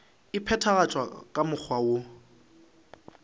e phethagatšwa ka mokgwa woo